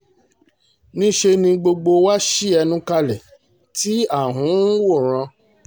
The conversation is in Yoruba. níṣẹ́ ni gbogbo wa ṣí ẹnu kalẹ̀ tí à ń ń wòran